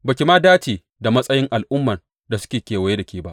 Ba ki ma dace da matsayin al’umman da suke kewaye da ke ba.